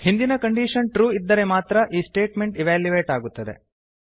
ಹಿಂದಿನ condition true ಇದ್ದರೆ ಮಾತ್ರ ಈ ಸ್ಟೇಟ್ಮೆಂಟ್ ಇವ್ಯಾಲ್ಯುಯೇಟ್ ಆಗುತ್ತದೆ